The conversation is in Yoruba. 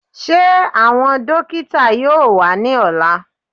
Ṣé àwọn dókítà yóò wá ní ọ̀la?